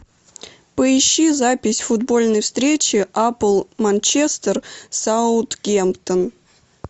поищи запись футбольной встречи апл манчестер саутгемптон